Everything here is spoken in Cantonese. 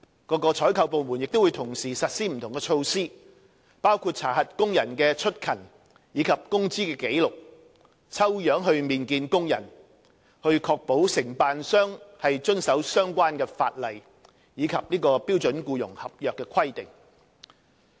各採購部門亦會同時實施不同的措施，包括查核工人的出勤和工資紀錄，並以抽樣形式面見工人，以確保承辦商遵守相關法例及標準僱傭合約的規定。